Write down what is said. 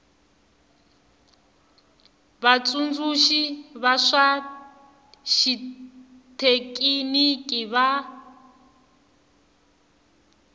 vatsundzuxi va swa xithekiniki va